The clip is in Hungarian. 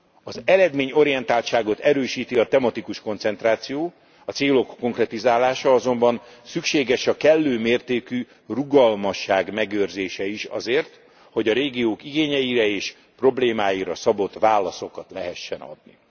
Az eredményorientáltságot erősíti a tematikus koncentráció, a célok konkretizálása azonban szükséges a kellő mértékű rugalmasság megőrzése is azért, hogy a régiók igényeire és problémáira szabott válaszokat lehessen adni.